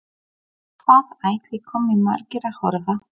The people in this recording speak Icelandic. Hvað ætli komi margir að horfa?